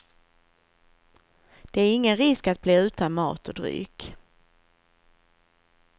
Det är ingen risk att bli utan mat och dryck.